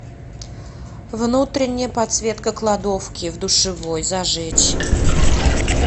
внутренняя подсветка кладовки в душевой зажечь